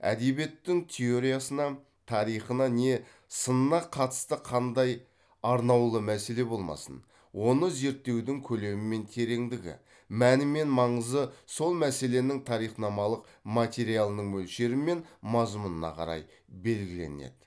әдебиеттің теориясына тарихына не сынына қатысты қандай арнаулы мәселе болмасын оны зерттеудің көлемі мен тереңдігі мәні мен маңызы сол мәселенің тарихнамалық материалының мөлшері мен мазмұнына қарай белгіленеді